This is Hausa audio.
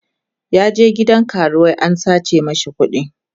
ya je gidan karuwai an sace mashi kuɗi